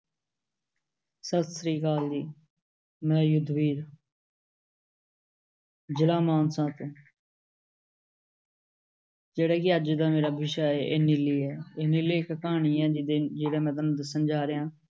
ਸਤਿ ਸ਼੍ਰੀ ਅਕਾਲ ਜੀ, ਮੈਂ ਯੁੱਧਵੀਰ ਜਿਲ੍ਹਾ ਮਾਨਸਾ ਤੋਂ ਜਿਹੜਾ ਕਿ ਅੱਜ ਦਾ ਮੇਰਾ ਵਿਸ਼ਾ ਹੈ ਇਹ ਨੀਲੀ ਹੈ, ਇਹ ਨੀਲੀ ਇੱਕ ਕਹਾਣੀ ਹੈ, ਜਿ-ਦਿਨ, ਜਿਹਦਾ ਮੈਂ ਤੁਹਾਨੁੂੰ ਦੱਸ ਜਾ ਰਿਹਾਂ।